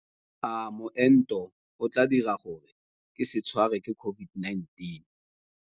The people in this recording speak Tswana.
A moento o tla dira gore ke se tshwarwe ke COVID-19?